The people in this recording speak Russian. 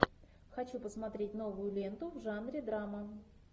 хочу посмотреть новую ленту в жанре драма